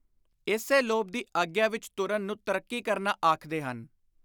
ਇਸੇ ਲੋਭ ਦੀ ਆਗਿਆ ਵਿਚ ਤੁਰਨ ਨੂੰ ‘ਤਰੱਕੀ ਕਰਨਾ’ ਆਖਦੇ ਹਨ।